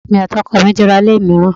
Èmi àti ọkọ mi ti ra ilé mìíràn.